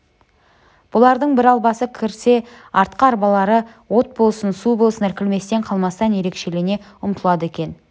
бұлардың бір арбасы кірсе артқы арбалары от болсын су болсын іркілместен қалмастан өршелене ұмтылады екен